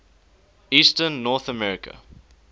eastern north america